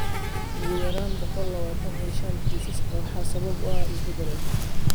Ugu yaraan boqolkiba lawatan iyo shan kiisaska waxaa sabab u ah isbedel cusub.